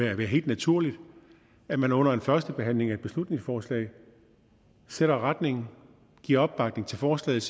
helt naturligt at man under en førstebehandling af et beslutningsforslag sætter retningen giver opbakning til forslaget